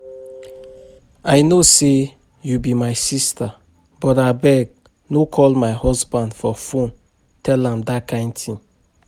I know say you be my sister but abeg no call my husband for phone tell am dat kin thing